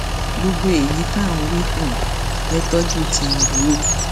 gbogbo èyí tí à ń wí dùn ẹ tọjú tìǹbù o